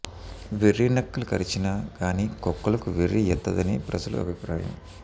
వెర్రి నక్కలు గరచిన గాని కుక్కలకు వెర్రి యెత్తదని ప్రజల అభిప్రాయము